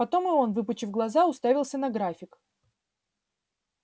потом и он выпучив глаза уставился на график